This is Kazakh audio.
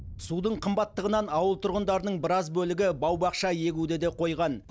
судың қымбаттығынан ауыл тұрғындарының біраз бөлігі бау бақша егуді де қойған